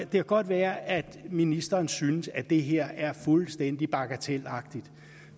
godt være at ministeren synes at det her er fuldstændig bagatelagtigt